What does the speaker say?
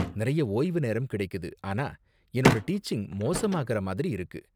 நிறைய ஓய்வு நேரம் கிடைக்குது, ஆனா என்னோட டீச்சிங் மோசமாகற மாதிரி இருக்கு.